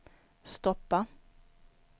stoppa